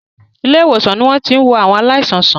Ilé-ìwòsàn ni wọ́n ti ń wo àwọn aláìsàn sàn.